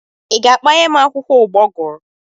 Ị ga-akpanyem akwụkwọ ụgbọguru?